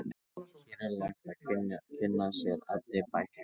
Hér er hægt að kynna sér efni bæklingsins.